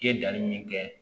I ye danni min kɛ